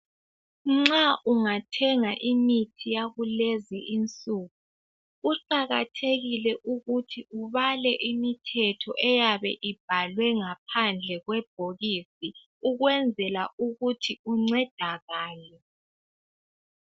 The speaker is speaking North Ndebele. Nxa ungathenga imithi yakulezi insuku kuqakathekile ukuthi ubale imithetho eyabe ibhalwe ngaphandle kwebhokisi ukwenzela ukuthi uncedakale.